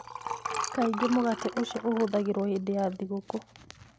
Kaingĩ mũgate ũcio ũhũthagĩrũo hĩndĩ ya thigũkũ.